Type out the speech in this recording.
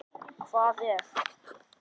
Hvað ef.?